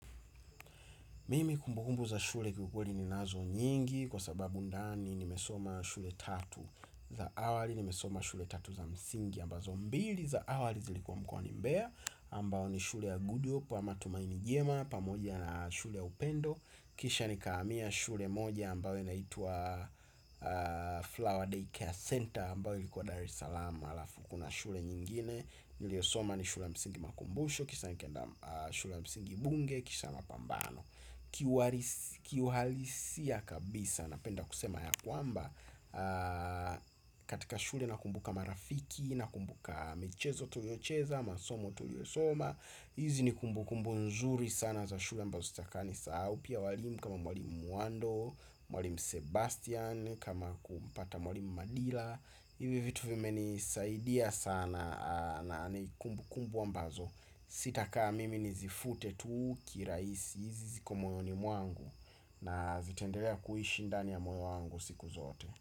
Mimi kumbukumbu za shule kiukweli ninazo nyingi kwa sababu ndani nimesoma shule tatu za awali nimesoma shule tatu za msingi ambazo mbili za awali zilikuwa mkwani mbea ambao ni shule ya gudyo pwa matumaini jema pamoja na shule ya upendo kisha nikahamia shule moja ambao inaitwa Flower Day Care Center ambayo ilikuwa Dar es Salaam halafu kuna shule nyingine niliosoma ni shule ya msingi makumbusho kisha nikaenda shule ya msingi bunge kisha ya mapambano kiuhalisia kabisa napenda kusema ya kwamba katika shule nakumbuka marafiki nakumbuka michezo tuliocheza masomo tuliosoma hizi ni kumbukumbu nzuri sana za shule ambazo sitakangi sahau pia walimu kama mwalimu Mwando Mwalimu sebastian kama kumpata mwalimu madila hivi vitu vimenisaidia sana na ni kumbukumbu ambazo sitakaa mimi nizifute tuu kirahisi. Hizi ziko moyoni mwangu na zitendelea kuishi ndani ya moyo wangu siku zote.